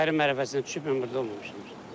Ayrı mərhələsinə düşüb mən burda olmamışam.